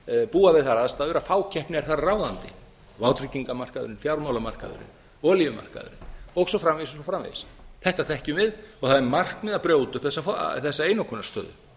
búa við þær aðstæður að fákeppni er þar ráðandi vátryggingamarkaðurinn fjármálamarkaðurinn olíumarkaðurinn og svo framvegis og svo framvegis þetta þekkjum við og það er markmið að brjóta upp þessa einokunarstöðu